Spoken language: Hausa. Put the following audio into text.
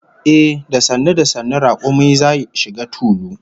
Ehh, da sannu sannu rakumi zai shiga tulu